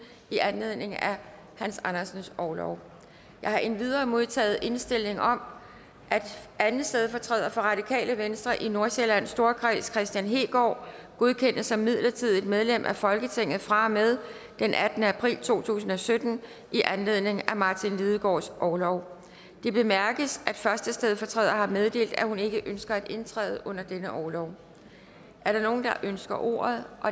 i anledning af hans andersens orlov jeg har endvidere modtaget indstilling om at anden stedfortræder for radikale venstre i nordsjællands storkreds kristian hegaard godkendes som midlertidigt medlem af folketinget fra og med den attende april to tusind og sytten i anledning af martin lidegaards orlov det bemærkes at første stedfortræder har meddelt at hun ikke ønsker at indtræde under denne orlov er der nogen der ønsker ordet